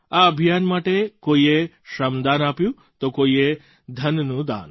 આ અભિયાન માટે કોઈએ શ્રમદાન આપ્યું તો કોઈએ ધનનું દાન